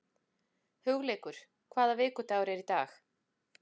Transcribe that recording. Hugleikur, hvaða vikudagur er í dag?